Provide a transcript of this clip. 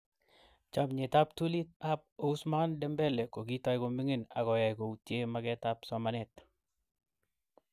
Chamyet ab ptulit ab Ousmane Dembele kokitoi komingin akoyay koutie maket ab somanet.